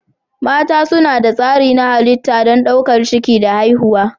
Mata suna da tsari na halitta don ɗaukar ciki da haihuwa.